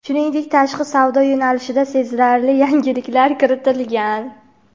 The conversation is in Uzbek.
shuningdek tashqi savdo yo‘nalishida sezilarli yangiliklar kiritgan.